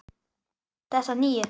Þessa nýju.